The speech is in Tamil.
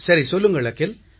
சரி சொல்லுங்கள் அகில்